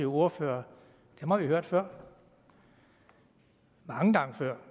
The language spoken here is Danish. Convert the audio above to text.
ordfører har vi hørt før mange gange før